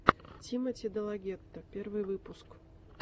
тимоти делагетто первый выпуск